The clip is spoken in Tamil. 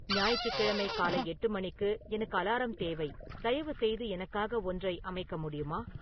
ஞாயிற்றுக்கிழமை காலை எட்டு மணிக்கு எனக்கு அலாரம் தேவை தயவுசெய்து எனக்காக ஒன்றை அமைக்க முடியுமா